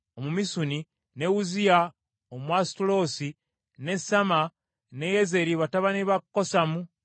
ne Uzziya Omwasutaloosi, ne Samma ne Yeyeri batabani ba Kosamu Omwaloweri,